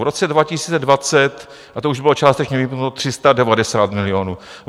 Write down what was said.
V roce 2020 - a to už bylo částečně vypnuté - 390 milionů.